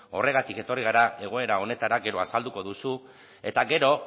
horregatik etorri gara egoera honetara gero azalduko duzu eta gero